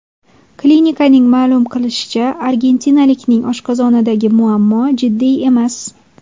Klinikaning ma’lum qilishicha, argentinalikning oshqozonidagi muammo jiddiy emas.